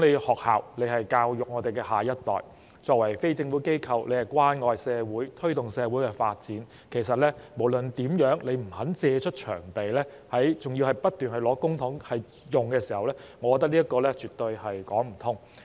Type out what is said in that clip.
學校教育我們的下一代，作為非政府機構，應關愛社會，推動社會發展，若不肯借出場地，還要不斷領取公帑，我覺得這樣絕對說不通。